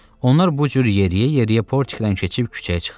Onlar bu cür yeriə-yeriə portikdən keçib küçəyə çıxdılar.